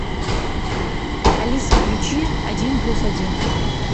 алиса включи один плюс один